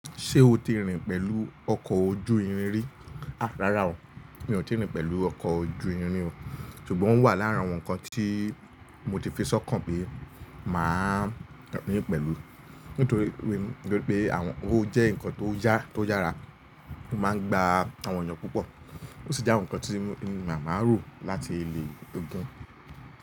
Ṣé o ti rìn pẹ̀lú ọkọ̀ ojú irin rí? Rárá o, mi ò ti rìn pẹ̀lú ọkọ̀ ojú irin ri o. Ṣùgbọ́n ó wà lára àwọn nǹkan tí mo ti fi sọ́kàn pé màá rìn pẹ̀lú. Nítorí pé awón, o jẹ́ nǹkan tó ya to yára, ó máa ń gba àwọn èèyàn púpọ̀, ó sì jẹ́ àwọn nǹkan tí màá rò láti lẹ̀ ogún.